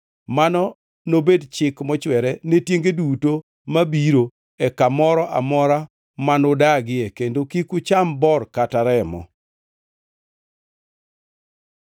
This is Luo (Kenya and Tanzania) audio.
Mano nobed chik mochwere ne tienge duto mabiro e kamoro amora manudagie; kendo kik ucham bor kata remo.